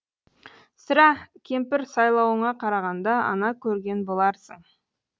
сірә кемпір сыйлауыңа қарағанда ана көрген боларсың